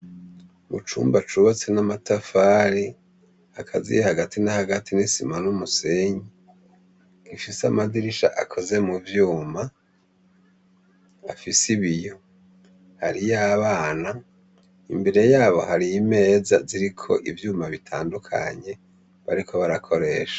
Mu cumba cubatse n'amatafari akaziye hagati n'hagati n'isima n'umusenyi gifise amadirisha akoze mu vyuma afis ibiyo hariyo abana imbere yabo hariyo imeza ziri ko ivyuma bitandukanye bariko barakore.